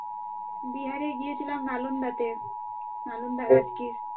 বিহারে গিয়েছিলাম নালন্দাতে নালন্দা রাজ্যে।